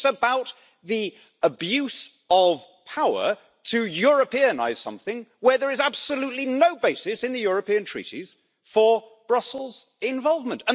it's about the abuse of power to Europeanise' something where there is absolutely no basis in the European Treaties for Brussels involvement.